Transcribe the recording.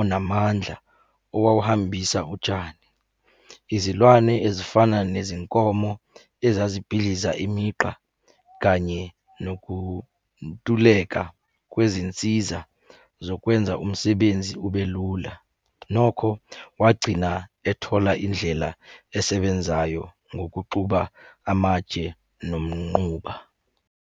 onamandla owawuhambisa utshani. Izilwane ezifana nezinkomo ezazibhidliza imigqa, kanye nokuntuleka kwezinsiza zokwenza umsebenzi ube lula. Nokho wagcina ethola indlela esebenzayo ngokuxuba amatshe nomnquba.